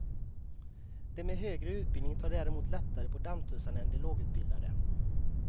De med högre utbildning tar däremot lättare på dammtussarna än de lågutbildade.